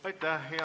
Aitäh!